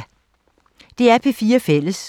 DR P4 Fælles